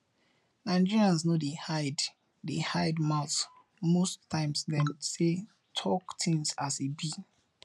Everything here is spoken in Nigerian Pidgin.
nigerians no dey hide dey hide mouth most times dem sey talk things as e be